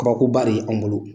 Kabako ba re ye an bolo.